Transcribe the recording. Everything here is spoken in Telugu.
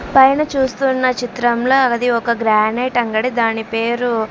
పైన చూస్తున్న చిత్రంలో అది ఒక గ్రానైట్ అంగడి దాని పేరు--